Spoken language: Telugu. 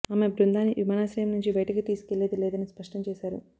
ఆమె బృందాన్ని విమానాశ్రయం నుంచి బయటికి తీసుకెళ్లేది లేదని స్పష్టం చేశారు